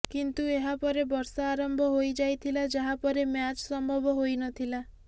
କିନ୍ତୁ ଏହା ପରେ ବର୍ଷା ଆରମ୍ଭ ହୋଇଯାଇଥିଲା ଯାହା ପରେ ମ୍ୟାଚ୍ ସମ୍ଭବ ହୋଇନଥିଲା